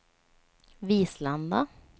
Vislanda